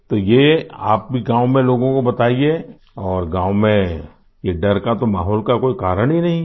तो ये आप भी लोगों को गाँव में बताइये और गाँव में ये डर का तो माहौल का कोई कारण ही नहीं है